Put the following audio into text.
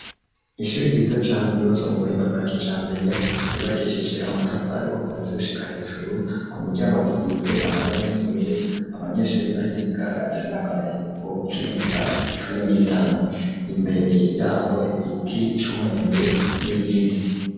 Ishuri ryiza cane ryubatswe mu buhinda bwakijambere ryubakishije amatafari kuva hasi gushika hejuru ku miryango risize amabara y'ubururu, abanyeshuri bahiga bari mu karuhuko k'iminota cumi n'itanu, imbere yaho igiti c'umwembe n'ibindi.